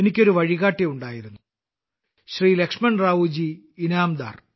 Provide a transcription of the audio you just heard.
എനിക്ക് ഒരു വഴികാട്ടി ഉണ്ടായിരുന്നു ശ്രീ ലക്ഷ്മണറാവു ജി ഇനാംദാർ